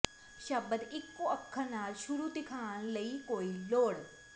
ਸ਼ਬਦ ਇੱਕੋ ਅੱਖਰ ਨਾਲ ਸ਼ੁਰੂ ਦਿਖਾਉਣ ਲਈ ਕੋਈ ਲੋੜ